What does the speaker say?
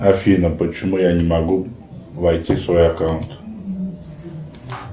афина почему я не могу войти в свой аккаунт